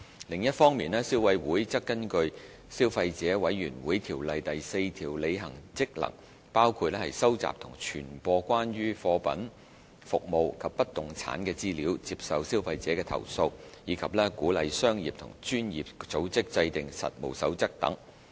另一方面，消委會則根據《消費者委員會條例》第4條履行職能，包括收集及傳播關於貨品、服務及不動產的資料；接受消費者的投訴；以及鼓勵商業及專業組織制訂實務守則等。